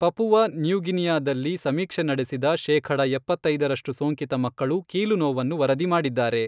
Papua New ಗಿನಿಯಾದಲ್ಲಿ ಸಮೀಕ್ಷೆ ನಡೆಸಿದ ಶೇಖಡ ಎಪ್ಪತ್ತೈದರಷ್ಟು ಸೋಂಕಿತ ಮಕ್ಕಳು ಕೀಲು ನೋವನ್ನು ವರದಿ ಮಾಡಿದ್ದಾರೆ.